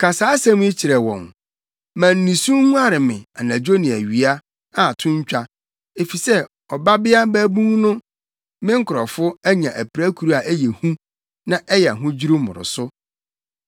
“Ka saa asɛm yi kyerɛ wɔn: “ ‘ma nisu nguare me anadwo ne awia, a to ntwa, efisɛ Ɔbabea Babun no, me nkurɔfo, anya apirakuru a ɛyɛ hu na ɛyɛ ahodwiriw mmoroso.